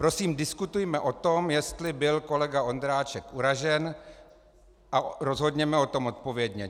Prosím, diskutujme o tom, jestli byl kolega Ondráček uražen, a rozhodněme o tom odpovědně.